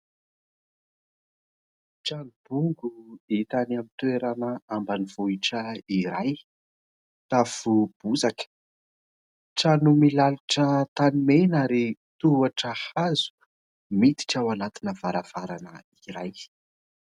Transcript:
Trano bongo hita any amin'ny toerana ambanivohitra iray. Tafo bozaka, trano milalitra tanimena ary tohatra hazo miditra ao anatina varavarana iray.